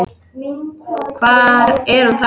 Hvar er hún þá?